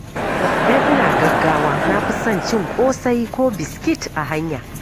Idan ina gaggawa, na fi son cin ƙosai ko biskit a hanya.